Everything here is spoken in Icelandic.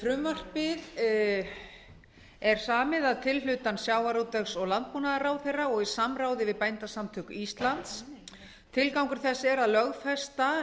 frumvarpið er samið að tilhlutan sjávarútvegs og landbúnaðarráðherra og í samráði við bændasamtök íslands tilgangur þess er að lögfesta